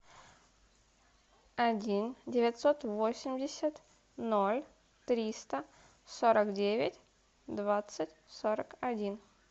один девятьсот восемьдесят ноль триста сорок девять двадцать сорок один